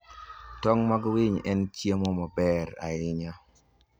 Tong' mag winy en chiemo maber ahinya.